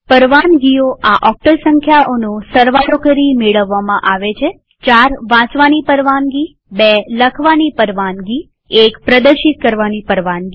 પરવાનગીઓ આ ઓક્ટલ સંખ્યાઓનો સરવાળો કરી મેળવવામાં આવે છે ૪ વાંચવાની પરવાનગી ૨ લખવાની પરવાનગી ૧ પ્રદર્શિત કરવાની પરવાનગી